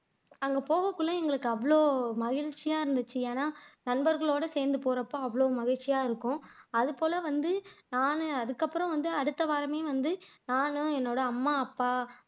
அங்க போறதுக்குள்ள எங்களுக்கு அவ்வளவு மகிழ்ச்சியா இருந்துச்சு ஏன்னா நண்பர்களோட சேர்ந்து போறப்ப அவ்வளவு மகிழ்ச்சியா இருக்கும் அதுபோல வந்து நான் அதுக்கப்புறம் வந்து அடுத்தவாரமே வந்து நானும் என்னோட அம்மா அப்பா